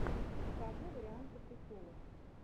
покажи варианты приколов